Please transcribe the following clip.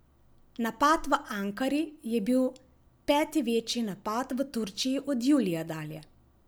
Napad v Ankari je bil peti večji napad v Turčiji od julija dalje.